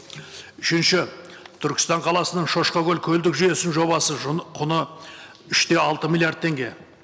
үшінші түркістан қаласының шошқакөл көлдік жүйесінің жобасы құны үш те алты миллиард теңге